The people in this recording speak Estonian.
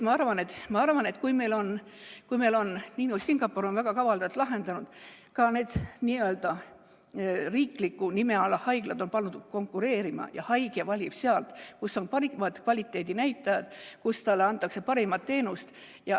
Singapur on selle väga kavalalt lahendanud, ka need n-ö riiklikud haiglad on pandud konkureerima ja haige valib, kus on parimad kvaliteedinäitajad, kus talle antakse parimat teenust.